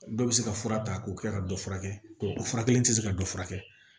Dɔ bɛ se ka fura ta k'o kɛ ka dɔ furakɛ o fura kelen tɛ se ka dɔ furakɛ